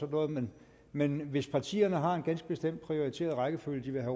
noget men men hvis partierne har en ganske bestemt prioriteret rækkefølge